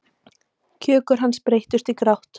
Kjökur hans breytist í grát.